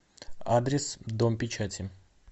адрес дом печати